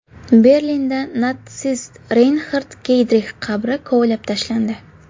Berlinda natsist Reynxard Geydrix qabri kovlab tashlandi.